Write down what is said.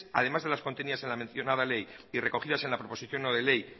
además de las contenidas en la menciona ley y recogidas en la proposición no de ley